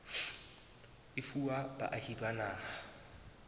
e fuwa baahi ba naha